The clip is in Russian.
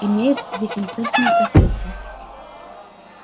имеет дефицитную профессию